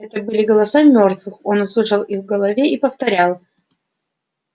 это были голоса мёртвых он услышал их в голове и повторял